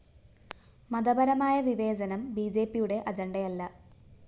മതപരമായ വിവേചനം ബിജെപിയുടെ അജണ്ടയല്ല